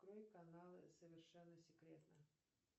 открой каналы совершенно секретно